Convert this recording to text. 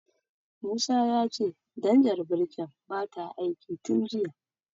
Musa ya ce danjar birkin bata aiki tin jiya.